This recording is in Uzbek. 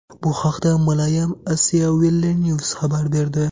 Bu haqda Malayam Asiavillenews xabar berdi .